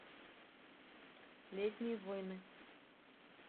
летние воины